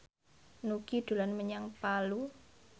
Nugie dolan menyang Palu